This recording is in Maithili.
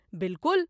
बिल्कुल!